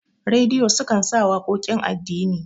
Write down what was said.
rediyo sukan sa waƙoƙin addini